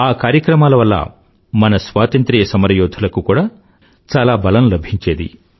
ఆ కార్యక్రమాల వల్ల మన స్వాతంత్ర సమరయోధులకు కూడా చాలా బలం లభించేది